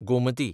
Gomti